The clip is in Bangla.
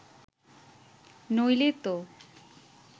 নইলে তো